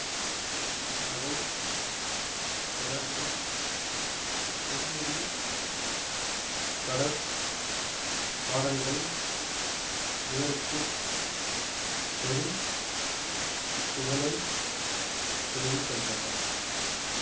அதை தொடர்ந்து பொன்முடி பட பாடல்கள் இவருக்கு பெரும் புகழை தேடித்தந்தன